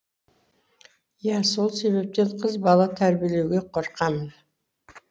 иә сол себептен қыз бала тәрбиелеуге қорқамын